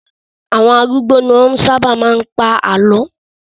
Àwọn arúgbó ni wọ́n sábà máa ń pa àlọ́.